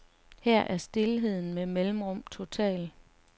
Her er stilheden med mellemrum total.